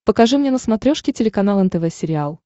покажи мне на смотрешке телеканал нтв сериал